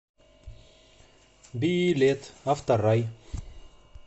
билет авторай